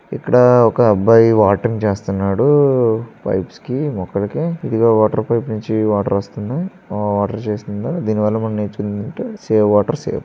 ఇక్కడ ఒక అబ్బాయి వాటరింగ్ చేస్తున్నాడు పైప్స్ కి మొక్కలకి ఇదిగో వాటర్ పైప్ నుంచి వాటర్ వస్తాయి వాటర్ చేస్తుందా దీనివల్ల మనం నేర్చుకునేది ఏంటంటే సేవ్ వాటర్ సేవ్.